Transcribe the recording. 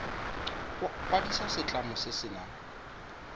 kwadisa setlamo se se nang